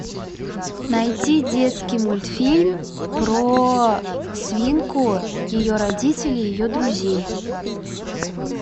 найти детский мультфильм про свинку ее родители ее друзей